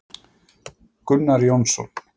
Gunnar Jónsson.